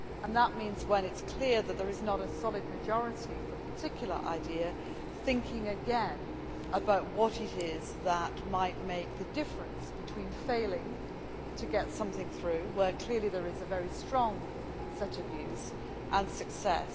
That means when it is clear that there is not a solid majority for a particular idea thinking again about what it is that might make the difference between failing to get something through, where clearly there is a very strong set of views, and success.